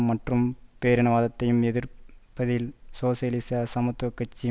மற்றும் பேரினவாதத்தையும் எதிர்ப்பதில் சோசியலிச சமத்துவ கட்சி